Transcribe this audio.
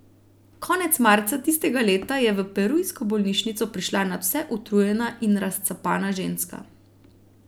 Konec marca tistega leta je v perujsko bolnišnico prišla nadvse utrujena in razcapana ženska.